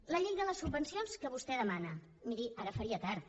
la llei de les subvencions que vostè demana miri ara faria tard